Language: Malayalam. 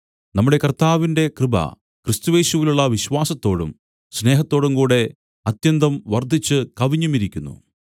നമ്മുടെ കർത്താവിന്റെ കൃപ ക്രിസ്തുയേശുവിലുള്ള വിശ്വാസത്തോടും സ്നേഹത്തോടുംകൂടെ അത്യന്തം വർദ്ധിച്ചു കവിഞ്ഞുമിരിക്കുന്നു